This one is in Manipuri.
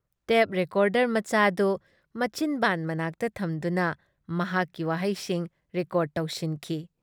ꯇꯦꯞ ꯔꯦꯀꯣꯔꯗꯔ ꯃꯆꯥꯗꯨ ꯃꯆꯤꯟꯕꯥꯟ ꯃꯅꯥꯛꯇ ꯊꯝꯗꯨꯅ ꯃꯍꯥꯛꯀꯤ ꯋꯥꯍꯩꯁꯤꯡ ꯔꯦꯀꯣꯔ꯭ꯗ ꯇꯧꯁꯤꯟꯈꯤ ꯫